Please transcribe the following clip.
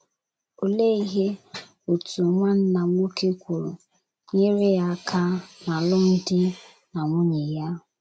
Olee ihe otu nwanna nwoke kwuru, nyeere ya aka n’alụmdi na nwunye ya?